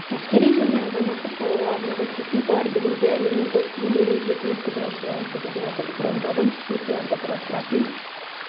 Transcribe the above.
әскери және азаматтық салаға арналған техникалар бүгінде әлемнің көптеген мемлекетінің қызығушылығын туғызып отыр брондалған техникаларды құрастыратын